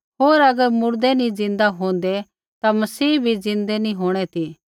होर अगर मुर्दै नी ज़िन्दा होंदै ता मसीह भी ज़िन्दै नी होंणा ती